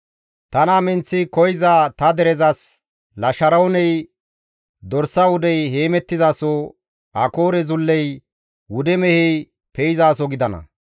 Tana minththi koyza ta derezas, Lasharooney dorsa wudey heemettizaso, Akoore zulley wude mehey pe7izaso gidana.